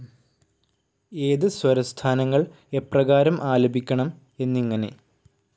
ഏത് സ്വരസ്ഥാനങ്ങൾ എപ്രകാരം ആലപിക്കണം എന്നിങ്ങനെ.